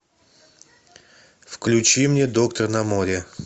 включи мне доктор на море